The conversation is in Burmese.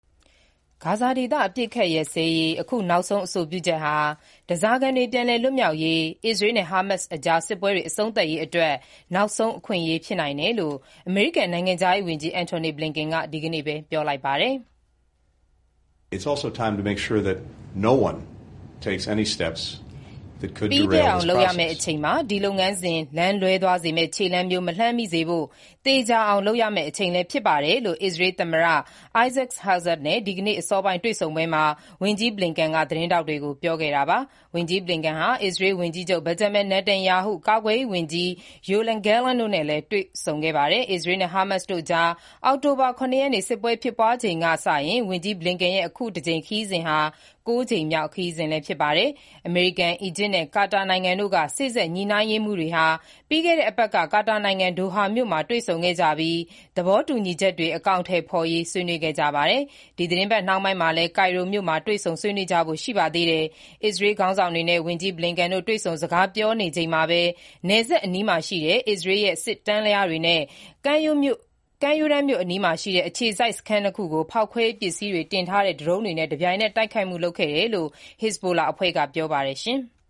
ဂါဇာဒေသ အပစ်အခတ် ရပ်စဲရေး အခုနောက်ဆုံး အဆိုပြုချက်ဟာ ဓားစာခံတွေ ပြန်လည်လွတ်မြောက်ရေး၊ အစ္စရေးနဲ့ ဟားမတ်စ်ကြား စစ်ပွဲတွေ အဆုံးသတ်ရေးအတွက် နောက်ဆုံး အခွင့်အရေး ဖြစ်နိုင်တယ်လို့ အမေရိကန် နိုင်ငံခြားရေးဝန်ကြီး Antony Blinken က ဒီနေ့ပဲ ပြောလိုက်ပါတယ်။ "ပြီးပြတ်အောင် လုပ်ရမယ့်အချိန်ပါ၊ ဒီလုပ်ငန်းစဉ် လမ်းလွဲသွားစေမယ့် ခြေလှမ်းမျိုး မလှမ်းမိစေဖို့ သေချာအောင် လုပ်ရမယ့် အချိန်လည်း ဖြစ်ပါတယ်။" လို့ အစ္စရေးသမ္မတ Isaac Herzog နဲ့ ဒီနေ့အစောပိုင်း တွေ့ဆုံမှုမှာ ဝန်ကြီးဘလင်ကန် သတင်းထောက်တွေကို ပြောခဲ့တာပါ။ ဝန်ကြီး Blinken ဟာ အစ္စရေး ဝန်ကြီးချုပ် Benjamin Netanyahu ကာကွယ်ရေးဝန်ကြီး Yoav Gallant တို့နဲ့လည်း တွေ့ဆုံခဲ့ပါတယ်။ အစ္စရေးနဲ့ ဟာမတ်စ်တို့ကြား အောက်တိုဘာ ၇ ရက်နေ့ စစ်ပွဲဖြစ်ပွားချိန်ကစ၊ ဝန်ကြီး Blinken ရဲ့ အခုတကြိမ်ခရီးစဉ်ဟာ ၉ ကြိမ်မြောက်လည်း ဖြစ်ပါတယ်။ အမေရိကန်၊ အီဂျစ်နဲ့ ကာတာနိုင်ငံတို့မှ စေ့စပ်ညှိနှိုင်းရေးမှူးတွေဟာ ပြီးခဲ့တဲ့အပတ်က ကာတာနိုင်ငံ ဒိုဟာမြို့မှာတွေဆုံခဲ့ကြပြီး သဘောတူညီချက်တွေ အကောင်အထည်ဖော်ရေး ဆွေးနွေးခဲ့ကြပါတယ်။ ဒီသတင်းပတ်နှောင်းပိုင်းမှာလည်း ကိုင်ရိုမြို့မှာ တွေ့ဆုံဆွေးနွေးကြဖို့ရှိပါသေးတယ်။ အစ္စရေးခေါင်းဆောင်တွေနဲ့ ဝန်ကြီး Blinken တွေ့ဆုံစကားပြောနေချိန်မှာပဲ နယ်စပ်အနီးရှိအစ္စရေးရဲ့ စစ်တန်းလျားတွေနဲ့ ကမ်းရိုးတန်းမြို့ Acre အနီးရှိ အခြေစိုက်စခန်းနှစ်ခုကို "ဖောက်ခွဲရေး ပစ္စည်းတွေ တင်ထားတဲ့ ဒရုန်းတွေနဲ့ တစ်ပြိုင်နက်တိုက်ခိုက်မှု လုပ်ခဲ့တယ်လို့ Hezbollah အဖွဲ့ကပြောပါတယ်။